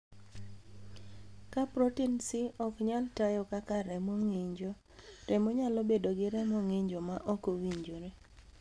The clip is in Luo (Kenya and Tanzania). Ka protin C ok nyal tayo kaka remo ng'injo, remo nyalo bedo ni remo ng'injo ma ok owinjore.